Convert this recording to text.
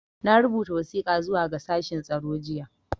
Na rubuta wasiƙa zuwa ga shashen tsaro jiya.